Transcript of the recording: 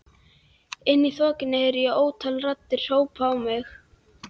Inni í þokunni heyri ég ótal raddir hrópa á mig.